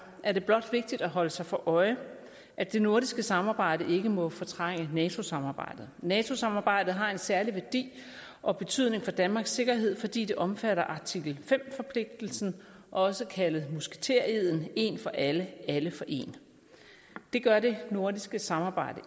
er det blot vigtigt at holde sig for øje at det nordiske samarbejde ikke må fortrænge nato samarbejdet nato samarbejdet har en særlig værdi og betydning for danmarks sikkerhed fordi det omfatter artikel fem forpligtelsen også kaldet musketereden en for alle og alle for en det gør det nordiske samarbejde